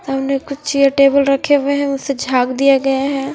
सामने कुछ chair table रखे हुए है उसे झाख दिया हुआ है।